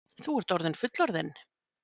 Þú ert orðinn fullorðinn.